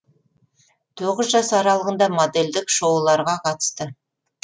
тоғыз жас аралығында модельдік шоуларға қатысты